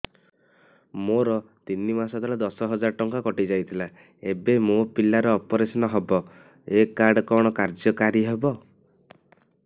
ମୋର ତିନି ମାସ ତଳେ ଦଶ ହଜାର ଟଙ୍କା କଟି ଯାଇଥିଲା ଏବେ ମୋ ପିଲା ର ଅପେରସନ ହବ ଏ କାର୍ଡ କଣ କାର୍ଯ୍ୟ କାରି ହବ